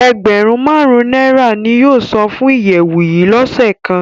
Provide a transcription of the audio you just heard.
Ẹgbẹrun màrun naira ni yóò san fun iyẹwu yii lọse kan